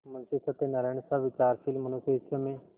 मुंशी सत्यनारायणसा विचारशील मनुष्य इस समय